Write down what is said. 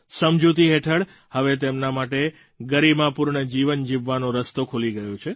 સમજૂતી હેઠળ હવે તેમના માટે ગરીમાપૂર્ણ જીવન જીવવાનો રસ્તો ખુલી ગયો છે